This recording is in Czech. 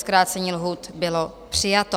Zkrácení lhůty bylo přijato.